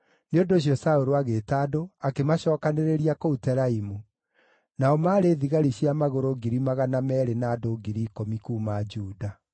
Nĩ ũndũ ũcio Saũlũ agĩĩta andũ, akĩmacookanĩrĩria kũu Telaimu; nao maarĩ thigari cia magũrũ ngiri magana meerĩ na andũ ngiri ikũmi kuuma Juda.